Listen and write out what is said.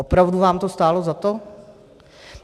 Opravdu vám to stálo za to?